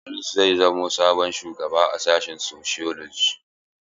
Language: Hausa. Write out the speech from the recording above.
Idris zai zamo sabon shugaba a sashin sociology.